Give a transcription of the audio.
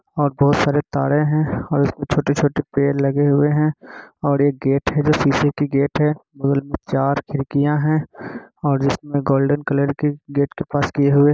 और बहुत सारे तारे हैं। और इसमे छोटे-छोटे पेड़ लगे हुए हैं। और एक गेट है जो सीसे के गेट है। बगल में चार खिड़कियां है और जिसमें गोल्डन कलर के गेट के पास किए हुए हैं ।